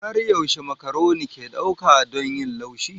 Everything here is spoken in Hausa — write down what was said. Har yaushe makaroni ke ɗauka don yin laushi?